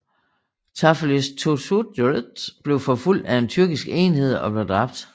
Zafeirakis Theodosiou blev forfulgt af en tyrkisk enhed og blev dræbt